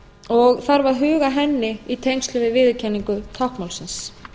og þarf að huga að henni í tengslum við viðurkenningu táknmálsins